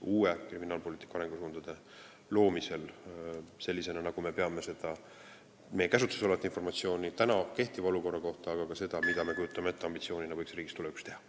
uute kriminaalpoliitika arengusuundade loomisel tervikliku ülevaate meie käsutuses olevast informatsioonist kehtiva olukorra kohta, aga ka selle kohta, milline on meie ambitsioon, mida võiks riigis tulevikus teha.